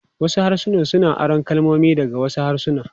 Wasu harsuna suna aron kalmomi daga wasu harsuna.